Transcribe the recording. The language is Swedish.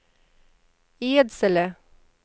Edsele